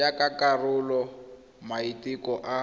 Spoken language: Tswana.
jaaka karolo ya maiteko a